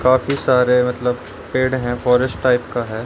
काफी सारे मतलब पेड़ है फॉरेस्ट टाइप का है।